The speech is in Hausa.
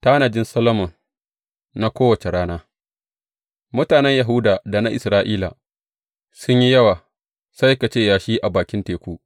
Tanajin Solomon na kowace rana Mutanen Yahuda da na Isra’ila sun yi yawa sai ka ce yashi a bakin teku.